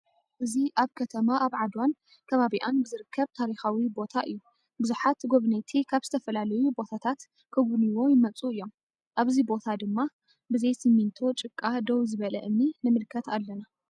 እዚ አብ ከተማ አብ ዓድዋን ከባቢአንብዝርከብ ታሪካዊ ቦታ እዩ::ቡዙሓት ጎብነይቲ ካብ ዝተፈላለዩ ቦታታት ክጉብንይዎ ይመፁ እዮም::አብዚ ቦታ ድማ ብዘይ ስሜንቶ ጭቃ ደው ዝበለ እምኒ ንምልከት አለና ::